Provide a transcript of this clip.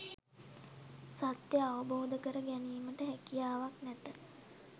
සත්‍යය අවබෝධ කර ගැනීමට හැකියාවක් නැත